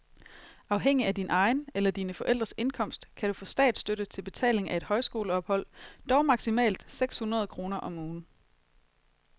Afhængig af din egen eller dine forældres indkomst kan du få statsstøtte til betaling af et højskoleophold, dog maksimalt seks hundrede kroner om ugen.